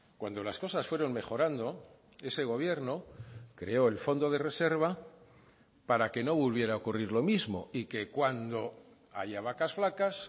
cuando las cosas fueron mejorando ese gobierno creó el fondo de reserva para que no volviera a ocurrir lo mismo y que cuando haya vacas flacas